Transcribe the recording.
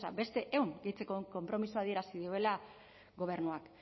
beste ehun gehitzeko konpromisoa adierazi duela gobernuak